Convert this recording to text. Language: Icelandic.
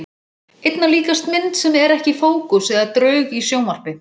Einna líkast mynd sem er ekki í fókus eða draug í sjónvarpi.